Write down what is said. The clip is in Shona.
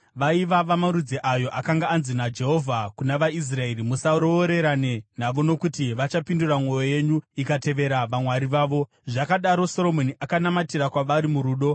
Vaiva vamarudzi ayo akanga anzi naJehovha kuvana vaIsraeri, “Musaroorerane navo nokuti vachapindura mwoyo yenyu ikatevera vamwari vavo.” Zvakadaro, Soromoni akanamatira kwavari murudo.